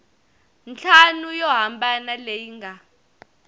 ntlhanu yo hambana leyi nga